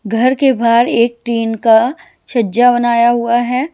घर के बाहर एक टीन का छज्जा बनाया हुआ है।